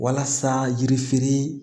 Walasa yirifirin